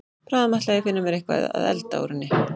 Bráðum ætla ég að finna mér eitthvað að elda úr henni.